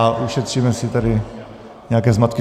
A ušetříme si tady nějaké zmatky.